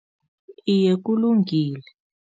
Iye, kulungile.